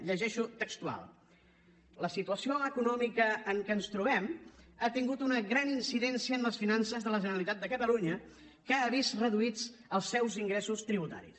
llegeixo textual la situació econòmica en què ens trobem ha tingut una gran incidència en les finances de la generalitat de catalunya que ha vist reduïts els seus ingressos tributaris